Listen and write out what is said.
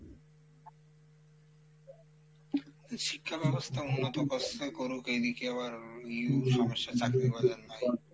শিক্ষা ব্যবস্থা উন্নত করসে করুক এইদিকে আবার সমস্যা চাকরি বাজার নাই,